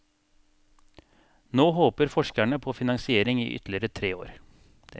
Nå håper forskerne på finansiering i ytterligere tre år.